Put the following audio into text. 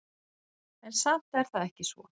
En samt er það ekki svo.